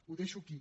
ho deixo aquí